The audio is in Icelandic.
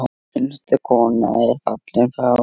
Einstök kona er fallin frá.